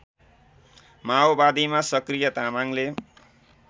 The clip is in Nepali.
माओवादीमा सक्रिय तामाङले